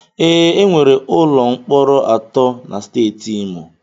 Ee, enwere ụlọ mkpọrọ atọ na Steeti Imo.